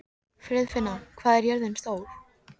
Friðfinna, hvað er jörðin stór?